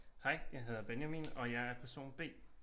Hej jeg hedder Benjamin og jeg er person B